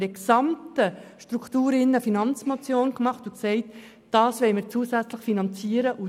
Wir reichten eine Finanzmotion ein und sagten, dass wir das zusätzlich finanzieren wollen.